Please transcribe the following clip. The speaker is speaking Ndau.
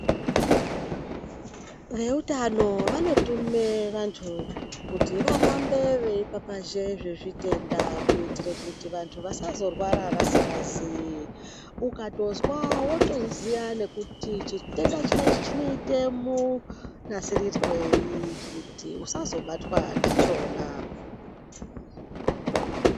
Veutano vanotume vantu kuti vahambe veipapazhe zvezvitenda kuitire kuti antu vasazorwara vasikazii, ukatozwa wotoziya nekuti chitenda chinechi chinoite munasirirwei kuti usazobatwa ndichona.